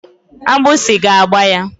Agbụsi ga-agba ya.